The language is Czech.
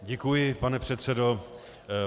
Děkuji, pane předsedo.